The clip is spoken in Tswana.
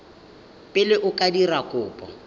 pele o ka dira kopo